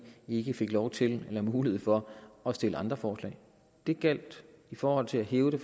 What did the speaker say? ikke fik lov til eller mulighed for at stille andre forslag den gjaldt i forhold til at hæve det